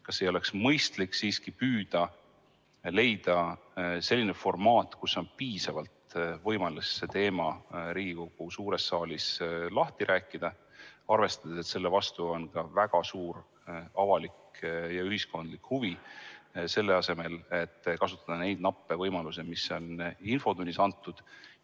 Kas ei oleks mõistlik siiski püüda leida selline formaat, kus on piisavalt võimalust see teema Riigikogu suures saalis lahti rääkida, arvestades, et selle vastu on väga suur avalik ja ühiskondlik huvi, selle asemel et kasutada neid nappe võimalusi, mis on infotunnis antud?